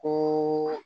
Ko